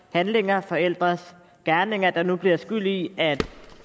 handlinger forældres gerninger der nu bliver skyld i at